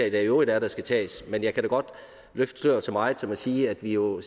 i øvrigt er der skal tages men jeg kan da godt løfte sløret så meget som at sige at vi jo